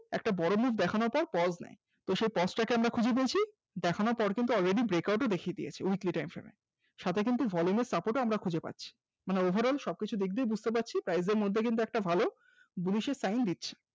একটা বড় move দেখানোর পর pause টাকে আমরা খুঁজে বলছি দেখানোর পর already breakout দিয়ে দিয়েছে weekly time frame এর সাথে কিন্তু volume ও support খুঁজে পাচ্ছি overall সবকিছু দিক দিয়ে বুঝতে পারছি price মধ্যে কিন্তু একটা ভালো Bullish এর sign দিচ্ছে